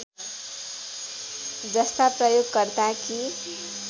जस्ता प्रयोगकर्ता कि